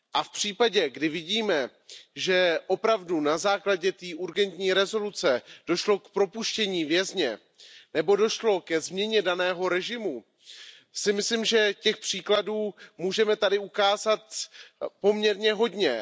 V případě, kdy vidíme, že opravdu na základě té urgentní rezoluce došlo k propuštění vězně nebo došlo ke změně daného režimu, myslím si, že těch příkladů tady můžeme ukázat poměrně hodně.